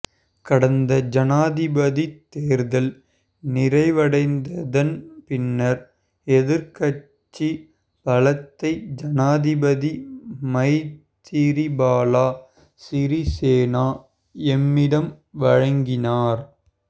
கடந்த ஜனாதிபதித் தேர்தல் நிறைவடைந்ததன் பின்னர் எதிர்க்கட்சி பலத்தை ஜனாதிபதி மைத்திரிபால சிறிசேன எம்மிடம் வழங்கினார்